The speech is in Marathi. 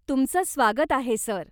तुमचं स्वागत आहे सर.